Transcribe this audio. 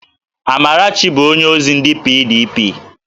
Amarachi bụ onyeozi ndị PDP